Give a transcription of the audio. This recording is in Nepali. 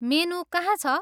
मेनु कहाँ छ?